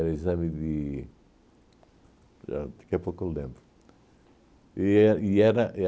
o exame de... a daqui a pouco eu lembro. E é e era